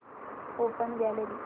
open gallery